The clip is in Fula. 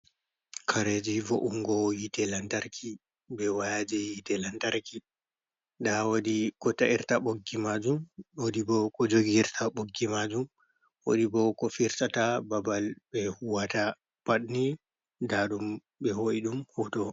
Kareji vo’ungo hitte lantarki be wayaji hitte lantarki, nda wodi ko ta’irta ɓoggi majum, wodi bo ko jogiyirta ɓoggi majum, wodi bo ko firtata babal be huwata, pad ni nɗa ɗum ɓe ho’i ɗum hoto.